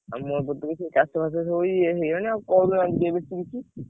ଆଉ ମୁଁ କହୁଥିଲି ଚାଷ ବାସ ସବୁ ଇଏ ହେଇ ଗଲାଣି ଆଉ କଣ ।